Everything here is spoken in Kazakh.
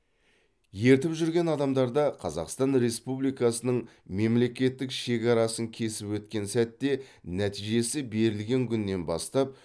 ертіп жүрген адамдарда қазақстан республикасының мемлекеттік шекарасын кесіп өткен сәтте нәтижесі берілген күннен бастап